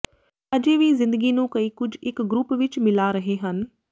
ਅਜੇ ਵੀ ਜ਼ਿੰਦਗੀ ਨੂੰ ਕਈ ਕੁਝ ਇੱਕ ਗਰੁੱਪ ਵਿੱਚ ਮਿਲਾ ਰਹੇ ਹਨ